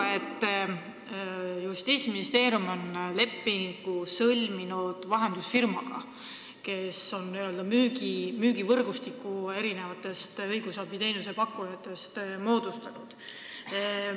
Ma saan aru, et Justiitsministeerium on lepingu sõlminud vahendusfirmaga, kes on õigusabi pakkujatest n-ö müügivõrgustiku moodustanud.